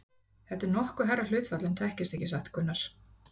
Þetta er nokkuð hærra hlutfall en þekkist ekki satt, Gunnar?